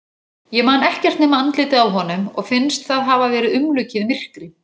Ég man ekkert nema andlitið á honum og finnst það hafa verið umlukið myrkri.